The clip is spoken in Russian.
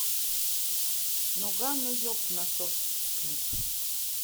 ноггано еб насос клип